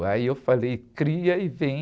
Aí eu falei, cria e vem.